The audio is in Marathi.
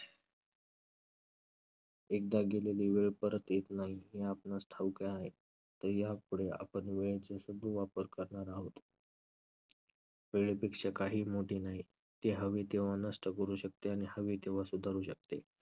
एकदा गेलेली वेळ परत येत नाही हे आपणास ठाऊक आहे. तर यापुढे आपण वेळेचे सदुवापर करणार आहोत. वेळेपेक्षा काहीही मोठे नाही. ती हवी तेव्हा नष्ट करू शकते आणि हवी तेव्हा सुधारू शकते.